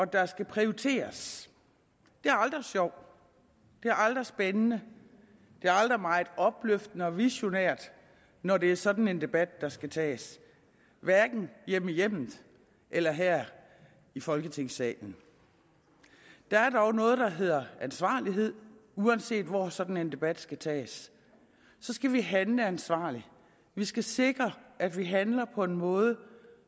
der skal prioriteres det er aldrig sjovt det er aldrig spændende det er aldrig meget opløftende og visionært når det er sådan en debat der skal tages hverken hjemme i hjemmet eller her i folketingssalen der er dog noget der hedder ansvarlighed uanset hvor sådan en debat skal tages skal vi handle ansvarligt vi skal sikre at vi handler på en måde